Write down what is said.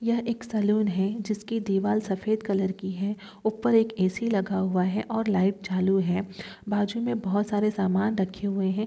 यह एक सलूना है जिसकी दीवाल सफेद कलर की है ऊपर एक ए _सी लगा हुआ है और लाइट चालू है बाज मे बहुत सारे समान रखे हुए हैं।